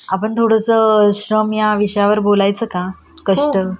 आपण थोडस श्रम या विषयावर बोलायचं का ? कष्ट